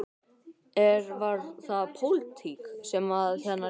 Er, var það pólitík sem að þarna réði ríkjum?